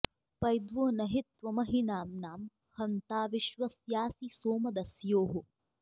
पै॒द्वो न हि त्वमहि॑नाम्नां ह॒न्ता विश्व॑स्यासि सोम॒ दस्योः॑